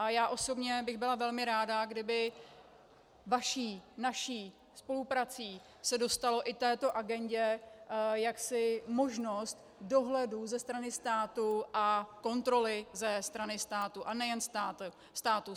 A já osobně bych byla velmi ráda, kdyby vaší, naší spoluprací se dostala i této agendě jaksi možnost dohledu ze strany státu a kontroly ze strany státu a nejen státu.